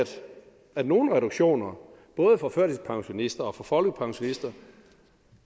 at nogle reduktioner både for førtidspensionister og for folkepensionister